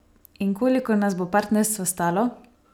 In koliko nas bo partnerstvo stalo?